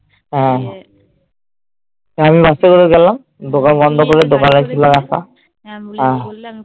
হ্যাঁ আমি রাত্রে বেলা গেলাম দোকান বন্ধ করে দোকানে খোলা রাখা